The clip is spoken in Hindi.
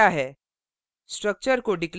structure क्या है